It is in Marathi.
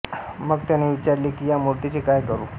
मग त्याने विचारले की या मूर्तीचे काय करू